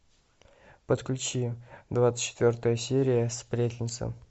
подключи двадцать четвертая серия сплетница